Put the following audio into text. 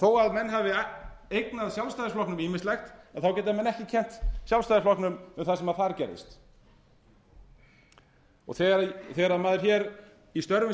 þó að menn hafi eignað sjálfstæðisflokknum ýmislegt þá geta menn ekki kennt honum um það sem þar gerðist og þegar maður í störfum